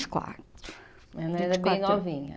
Vinte e quatro, vinte e quatro. Ela era bem novinha.